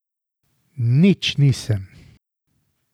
Nič nisem.